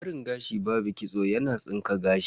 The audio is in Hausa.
Barin gashi babu kitso yana tsinka gashi.